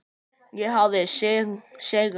Ég hafði sigrað.